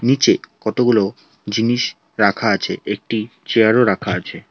নীচে কতগুলো জিনিস রাখা আছে একটি চেয়ারও রাখা আছে।